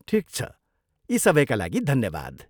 ठिक छ, यी सबैका लागि धन्यवाद।